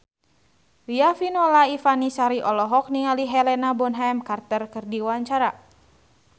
Riafinola Ifani Sari olohok ningali Helena Bonham Carter keur diwawancara